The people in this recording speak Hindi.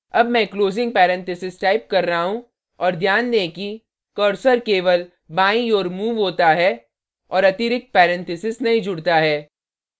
अब मैं closing parenthesis टाइप कर रहा हूँ और ध्यान दें कि cursor केवल बाईं ओर moves होता है और अतिरिक्त parenthesis नहीं जुड़ता है